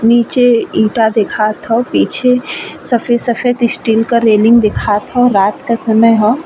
नीचे ईंटा दिखात ह पीछे सफेद-सफेद स्टील का रेलिंग दिखात ह। रात का समय ह।